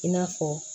I n'a fɔ